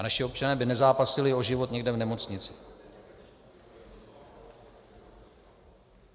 A naši občané by nezápasili o život někde v nemocnici.